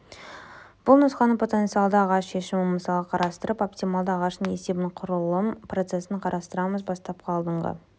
бұл нұсқаны потенциалды ағаш шешімі мысалын қарастырып оптималды ағаштың есебін құрылым процессін қарастырамыз бастапқы алдыңғы